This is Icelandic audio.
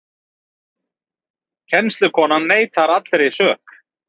Kennslukonan neitar allri sök